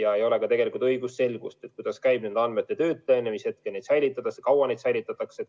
Ja ei ole ka õigusselgust, kuidas käib nende andmete töötlemine ja kui kaua neid säilitatakse.